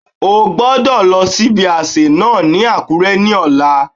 O gbodọ̀ lọ sí ibi àsè náà ní Àkúré ní ọ̀la